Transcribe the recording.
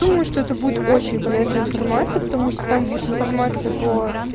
думаю что это будет очень полезная информация потому что там будет информация по